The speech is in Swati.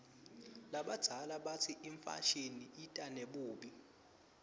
labadzala batsi imfashini ita nebubi